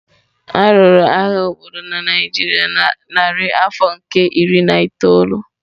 A lụrụ agha obodo na Naijiria na narị afọ nke iri na itoolu.